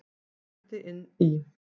Berti inn í.